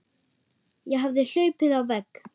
Ég hafði hlaupið á vegg.